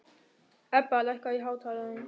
Ebba, lækkaðu í hátalaranum.